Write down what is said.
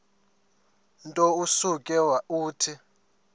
nto usuke uthi